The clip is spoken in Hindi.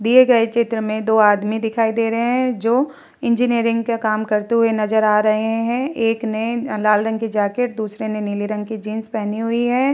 दिए गए चित्र में दो आदमी दिखाई दे रहे हैं जो इंजीनियर का काम करते हुए नज़र आ रहे हैं एक ने लाल रंग की जैकेट और दूसरे ने नीले रंग की जीन्स पहनी हुई है ।